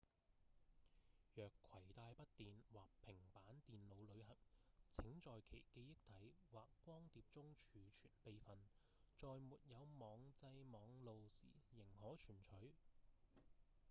若攜帶筆電或平板電腦旅行請在其記憶體或光碟中儲存備份在沒有網際網路時仍可存取